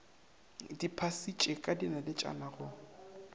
di phasitše ka dinaletšana go